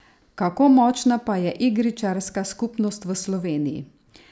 Kako močna pa je igričarska skupnost v Sloveniji?